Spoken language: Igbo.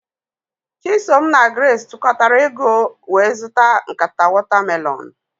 Chisom na Grace tukatara ego wee zụta nkata watamelonụ.